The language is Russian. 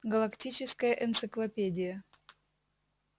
галактическая энциклопедия